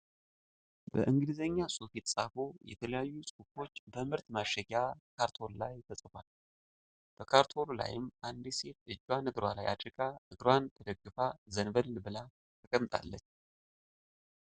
በእንግሊዘኛ ጽሁፍ የተጻፉ የተለያዩ ጽሁፎች በምርት ማሸጊያ ካርቶን ላይ ተጽፏል። መካርቶኑ ላይም አንዲት ሴት እጇን እግሯ ላይ አድርጋ እግሯን ተደግፋ ዘንበል ብላ ተቀምጣለች።